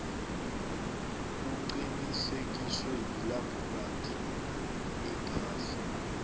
kuqinisekiswe yilabhorathri iphasi